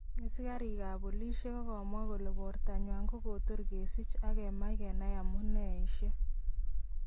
Asikarik kap polishek kokamwa kole bortanywan kokotor kesich ak agemach kenaiamuneishek.